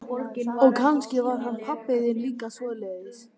Og kannski var hann pabbi þinn líka svoleiðis.